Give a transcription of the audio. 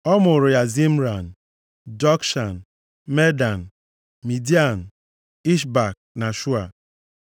Ọ mụụrụ ya Zimran, Jokshan, Medan, Midian, Ishbak na Shua.